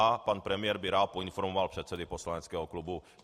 A pan premiér by rád poinformoval předsedy poslaneckého klubu.